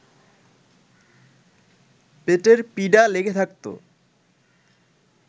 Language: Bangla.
পেটের পীড়া লেগে থাকত